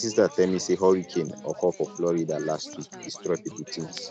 my sister tell me say hurricane hurricane occur for florida last week destroy people things